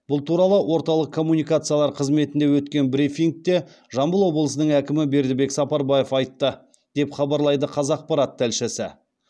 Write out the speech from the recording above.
бұл туралы орталық коммуникациялар қызметінде өткен брифингте жамбыл облысының әкімі бердібек сапарбаев айтты деп хабарлайды қазақпарат тілшісі